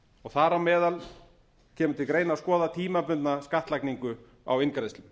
og þar á meðal kemur til greina að skoða tímabundna skattlagningu á inngreiðslum